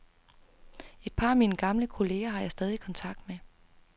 Et par af mine gamle kollegaer har jeg stadig kontakt med.